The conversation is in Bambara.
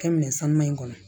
Kɛ minɛn sanuman in kɔnɔ